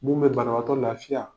Mun bɛ banabatɔ lafiya